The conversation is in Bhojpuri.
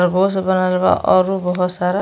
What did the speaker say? खरगोश बनल बा अरु बहोत सारा --